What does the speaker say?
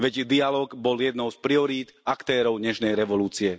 Veď dialóg bol jednou z priorít aktérov Nežnej revolúcie.